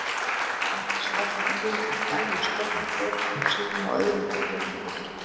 Annars lærðu unglingar dagleg störf af foreldrum sínum og öðru fullorðnu fólki.